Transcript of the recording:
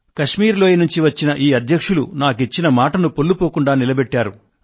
కశ్మీర్ లోయ నుండి వచ్చిన ఈ అధ్యక్షులంతా నాకు ఇచ్చిన మాటను పొల్లుపోకుండా నిలబెట్టారు